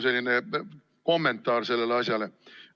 See on kommentaar sellele vastusele.